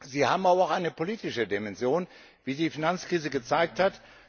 Sie haben aber auch eine politische Dimension, wie die Finanzkrise gezeigt hat.